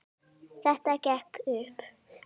Þetta gekk upp.